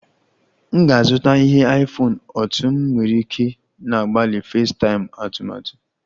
M ga-azụta ihe iPhone otú m nwere ike na-agbalị FaceTime atụmatụ